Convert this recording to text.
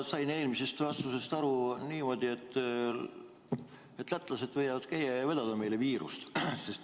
Ma sain teie eelmisest vastusest minule aru niimoodi, et lätlased võivad siin käia ja vedada meile viirust.